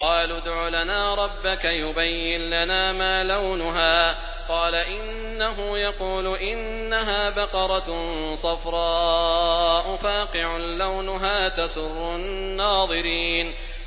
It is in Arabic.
قَالُوا ادْعُ لَنَا رَبَّكَ يُبَيِّن لَّنَا مَا لَوْنُهَا ۚ قَالَ إِنَّهُ يَقُولُ إِنَّهَا بَقَرَةٌ صَفْرَاءُ فَاقِعٌ لَّوْنُهَا تَسُرُّ النَّاظِرِينَ